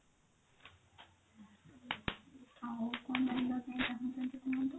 ଆଉ କଣ ଜାଣିବାପାଇଁ ଚାହୁଁଛନ୍ତି କୁହନ୍ତୁ